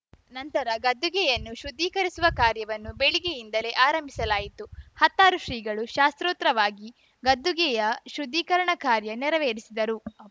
ನಂತರ ಗದ್ದುಗೆಯನ್ನು ಶುದ್ಧೀಕರಿಸುವ ಕಾರ್ಯವನ್ನು ಬೆಳಿಗ್ಗೆಯಿಂದಲೇ ಆರಂಭಿಸವಾಯಿತು ಹತ್ತಾರು ಶ್ರೀಗಳು ಶಾಸ್ತೋತ್ರವಾಗಿ ಗದ್ದುಗೆಯ ಶುದ್ಧೀಕರಣ ಕಾರ್ಯ ನೆರವೇರಿಸಿದರು